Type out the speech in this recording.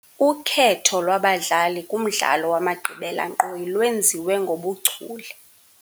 Ukhetho lwabadlali kumdlalo wamagqibela-nkqoyi lwenziwe ngobuchule.